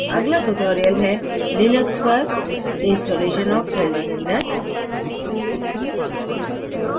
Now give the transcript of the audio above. अगला ट्यूटोरियल है लिनक्स पर इंस्टालेशन ऑफ़ सेल डिज़ाइनर